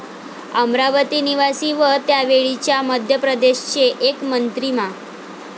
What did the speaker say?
अमरावती निवासी व त्यावेळच्या मध्यप्रदेश चे एक मंत्री मा.